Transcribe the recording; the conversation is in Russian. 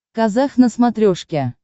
казах на смотрешке